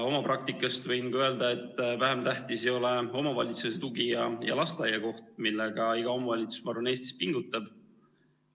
Oma praktikast võin öelda, et vähem tähtis ei ole omavalitsuse tugi ja lasteaiakoht, millega iga omavalitsus, ma arvan, Eestis pingutab.